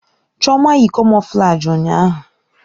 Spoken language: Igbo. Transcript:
Chioma yi kamoflaji ụnyahụ.